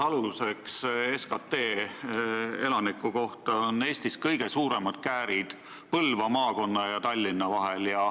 Võttes aluseks SKT elaniku kohta, on Eestis kõige suuremad käärid Põlva maakonna ja Tallinna vahel.